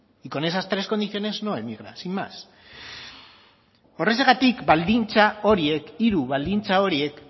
y con esas tres condiciones no emigra sin más horrexegatik baldintza horiek hiru baldintza horiek